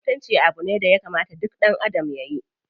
Mutunci abu ne daya kamata duk ɗanadam yayi.